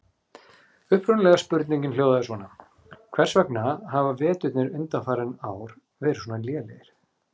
Upprunalega spurningin hljóðaði svona: Hvers vegna hafa veturnir undanfarin ár verið svona lélegir?